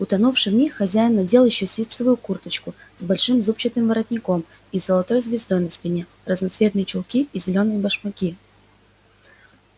утонувши в них хозяин надел ещё ситцевую курточку с большим зубчатым воротником и с золотой звездой на спине разноцветные чулки и зелёные башмаки